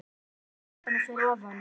Kemur upp á götuna fyrir ofan.